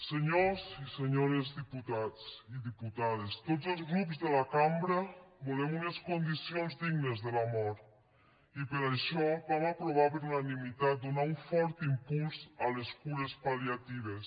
senyors i senyores diputats i diputades tots els grups de la cambra volem unes condicions dignes de la mort i per això vam aprovar per unanimitat donar un fort impuls a les cures pal·liatives